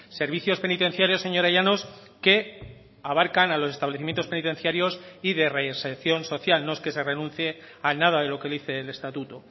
servicios penitenciarios señora llanos que abarcan a los establecimientos penitenciarios y de reinserción social no es que se renuncie a nada de lo que dice el estatuto